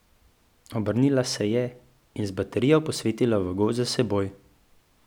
Obrnila se je in z baterijo posvetila v gozd za seboj.